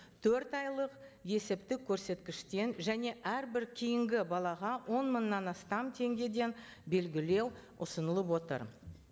төрт айлық есептік көрсеткіштен және әрбір кейінгі балаға он мыңнан астам теңгеден белгілеу ұсынылып отыр